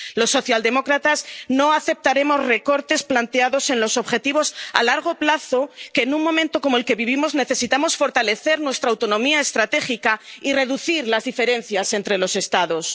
Los socialdemócratas no aceptaremos recortes planteados en los objetivos a largo plazo en un momento como el que vivimos, en el que necesitamos fortalecer nuestra autonomía estratégica y reducir las diferencias entre los Estados.